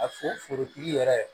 A fo forotigi yɛrɛ